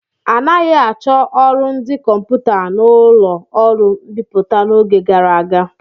Anaghị achọ ọrụ ndị kọmputa n'ụlọ ọrụ mbipụta n'oge gara aga.